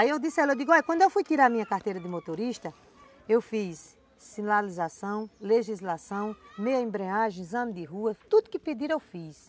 Aí eu disse a ele, quando eu fui tirar minha carteira de motorista, eu fiz sinalização, legislação, meia-embreagem, exame de rua, tudo que pediram eu fiz.